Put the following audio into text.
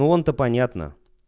но он то понятно